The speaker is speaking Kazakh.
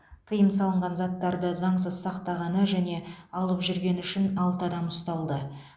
тыйым салынған заттарды заңсыз сақтағаны және алып жүргені үшін алты адам ұсталды